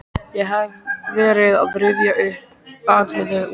Ég hef verið að rifja upp atriði úr